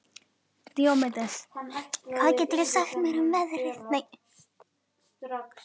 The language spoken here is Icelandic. Díómedes, hvað geturðu sagt mér um veðrið?